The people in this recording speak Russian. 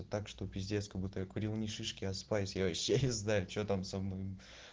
так что пиздец как будто я курил не шишки а спайс я вообще не знаю что там со мной